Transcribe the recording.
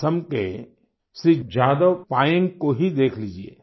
असम के श्री जादव पायेन्ग को ही देख लीजिये